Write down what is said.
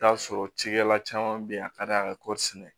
T'a sɔrɔ cikɛla caman bɛ yen a ka d'an ye ka kɔɔri sɛnɛ